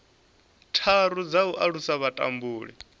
tharu dza u alusa vhutumbuli